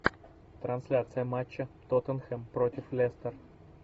трансляция матча тоттенхэм против лестер